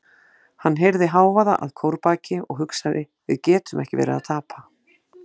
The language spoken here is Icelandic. Hann heyrði hávaða að kórbaki og hugsaði: við getum ekki verið að tapa.